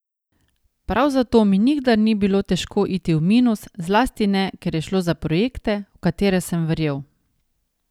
Prav zato mi nikdar ni bilo težko iti v minus, zlasti ne, ker je šlo za projekte, v katere sem verjel.